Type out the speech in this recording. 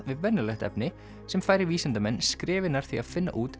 við venjulegt efni sem færir vísindamenn skrefi nær því að finna út